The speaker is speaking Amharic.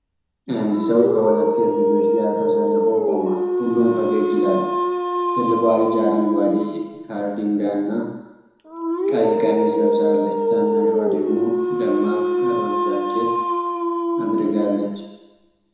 አንድ ሰው ከሁለት ሴት ልጆች ጋር ተሰልፎ ቆሟል፤ ሁሉም ፈገግ ይላሉ። ትልቋ ልጅ አረንጓዴ ካርዲጋንና ቀይ ቀሚስ ለብሳለች፤ ታናሽዋ ደግሞ ደማቅ ሮዝ ጃኬት አድርጋለች።